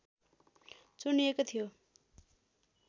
चुनिएको थियो